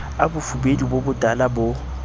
a bofubedu bo botala bo